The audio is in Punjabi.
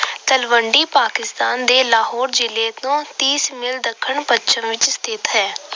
ਤਲਵੰਡੀ ਪਾਕਿਸਤਾਨ ਦੇ ਲਾਹੌਰ ਜ਼ਿਲੇ ਤੋਂ ਤੀਸ mile ਦੱਖਣ ਪੱਛਮ ਵਿੱਚ ਸਥਿਤ ਹੈ।